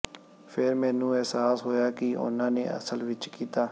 ਫਿਰ ਮੈਨੂੰ ਅਹਿਸਾਸ ਹੋਇਆ ਕਿ ਉਨ੍ਹਾਂ ਨੇ ਅਸਲ ਵਿਚ ਕੀਤਾ